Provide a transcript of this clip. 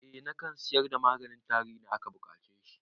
Eh nakan sayar da maganin tari idan aka buƙace shi